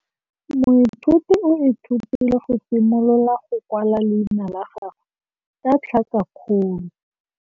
Moithuti o ithutile go simolola go kwala leina la gagwe ka tlhakakgolo.